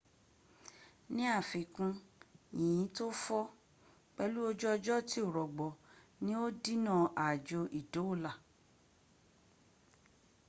ní àfiikún yínyìn tó fọ́,̣ pẹ̀lú ojú ọjọ́ tí ò rọgbọ ní ó dínà aájò ìdóòlà